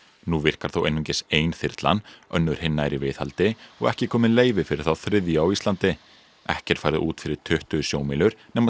nú virkar þó einungis ein þyrlan önnur hinna er í viðhaldi og ekki komið leyfi fyrir þá þriðju á Íslandi ekki er farið út fyrir tuttugu sjómílur nema